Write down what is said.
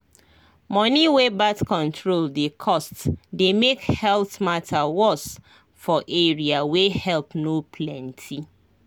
money wey birth control dey cost dey make health matter worse for area wey help no plenty